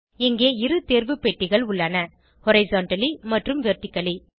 இங்கே இரு தேர்வு பெட்டிகள் உள்ளன ஹாரிசன்டலி மற்றும் வெர்டிக்கலி